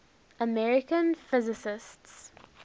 american physicists